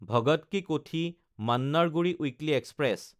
ভগত কি কোঠি–মান্নাৰগুডি weekly express